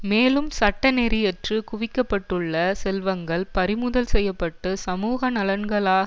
மேலும் சட்டநெறியற்று குவிக்கப்பட்டுள்ள செல்வங்கள் பறிமுதல் செய்ய பட்டு சமூக நலன்களான